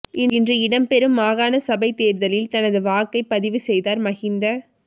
இன்று இடம்பெறும் மாகாண சபைத் தேர்தலில் தனது வாக்கைப் பதிவு செய்தார் மஹிந்த